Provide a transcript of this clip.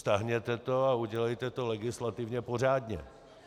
Stáhněte to a udělejte to legislativně pořádně.